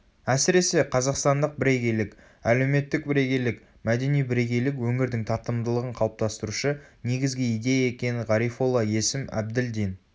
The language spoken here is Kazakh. әсіресе қазақстандық бірегейлік әлеуметтік бірегейлік мәдени бірегейлік өңірдің тартымдылығын қалыптастырушы негізгі идея екенін ғарифолла есім әбділдин